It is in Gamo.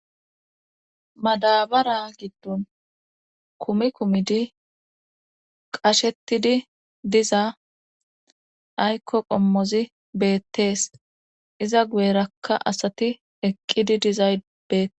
madabara giddon kumi kumidi qashettidi dizaa aykko qommozi beettees iza guyerakka asati eqqidi dizay bete